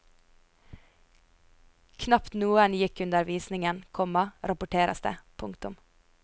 Knapt noen gikk under visningen, komma rapporteres det. punktum